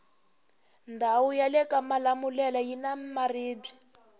ndawu yalekamalamulele yina maribwe